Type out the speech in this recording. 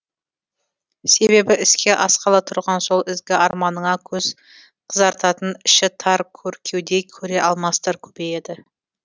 себебі іске асқалы тұрған сол ізгі арманыңа көз қызартатын іші тар көр кеуде көре алмастар көбейеді